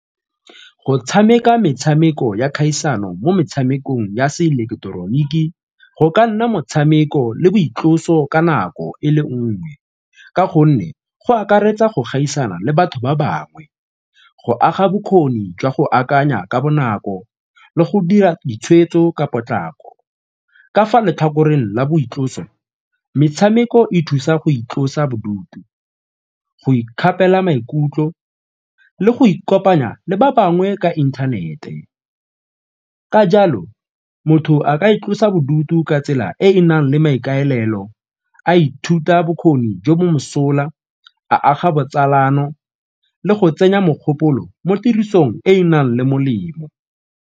Go tshameka metshameko ya kgaisano mo metshamekong ya seileketeroniki go ka nna motshameko le boitloso ka nako e le nngwe ka gonne go akaretsa go gaisana le batho ba bangwe, go aga bokgoni jwa go akanya ka bonako le go dira ditshweetso ka potlako. Ka fa lotlhakoreng la boitloso, metshameko e thusa go itlosa bodutu, go ikgapela maikutlo le go ikopanya le ba bangwe ka inthanete ka jalo motho a ka itlosa bodutu ka tsela e e nang le maikaelelo a ithuta bokgoni jo mo mosola, a aga botsalano le go tsenya mogopolo mo tirisong e e nang le molemo.